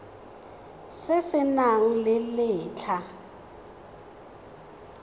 se se nang le letlha